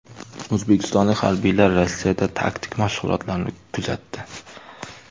O‘zbekistonlik harbiylar Rossiyada taktik mashg‘ulotlarni kuzatdi.